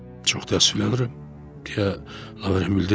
Çox təəssüflənirəm, deyə Laven bildirdi.